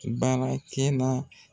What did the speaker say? Barakɛna